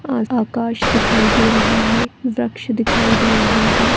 आ आकाश दिखाई दे रहा है वृक्ष दिखाई दे रहे है।